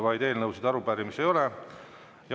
Rohkem eelnõusid ja arupärimisi üle anda ei ole.